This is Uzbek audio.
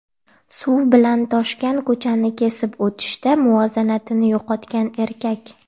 Suv bilan toshgan ko‘chani kesib o‘tishda muvozanatini yo‘qotgan erkak.